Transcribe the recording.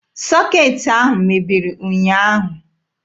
Sọkeetị ahụ mebiri ụnyaahụ.